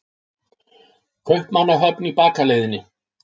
Kaupmannahöfn í bakaleiðinni.